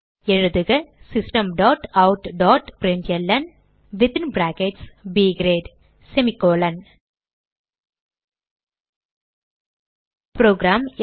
எழுதுக system dot println within brackets ப் great semi colon program